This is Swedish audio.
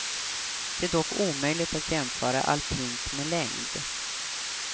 Det är dock omöjligt att jämföra alpint med längd.